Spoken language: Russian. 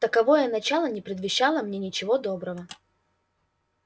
таковое начало не предвещало мне ничего доброго